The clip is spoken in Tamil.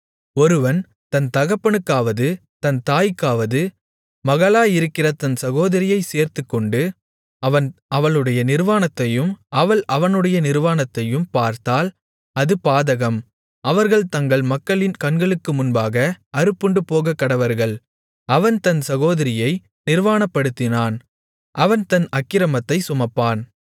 ஒருவன் தன் தகப்பனுக்காவது தன் தாய்க்காவது மகளாயிருக்கிற தன் சகோதரியைச் சேர்த்துக்கொண்டு அவன் அவளுடைய நிர்வாணத்தையும் அவள் அவனுடைய நிர்வாணத்தையும் பார்த்தால் அது பாதகம் அவர்கள் தங்கள் மக்களின் கண்களுக்கு முன்பாக அறுப்புண்டு போகக்கடவர்கள் அவன் தன் சகோதரியை நிர்வாணப்படுத்தினான் அவன் தன் அக்கிரமத்தைச் சுமப்பான்